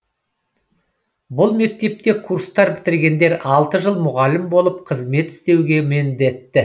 бұл мектепте курсты бітіргендер алты жыл мұғалім болып қызмет істеуге міндетті